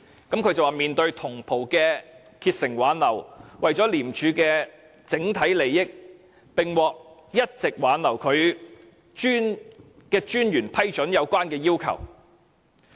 他表示在同袍竭誠挽留下，為了廉署的整體利益，最後獲一直挽留他的廉政專員批准其留任要求。